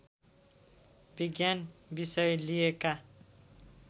विज्ञान विषय लिएका